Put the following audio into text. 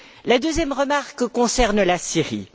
Ma deuxième remarque concerne la Syrie.